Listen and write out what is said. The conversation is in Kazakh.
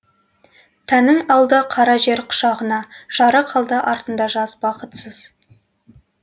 тәнін алды қара жер құшағына жары қалды артында жас бақытсыз